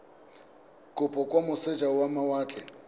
kopo kwa moseja wa mawatle